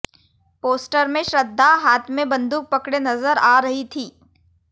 poster में श्रद्धा हाथ में बंदूक पकड़े नजर आ रही थीं